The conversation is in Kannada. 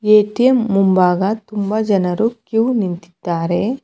ಎ_ಟಿ_ಎಂ ಮುಂಭಾಗ ತುಂಬ ಜನರು ಕ್ಯೂ ನಿಂತಿದ್ದಾರೆ.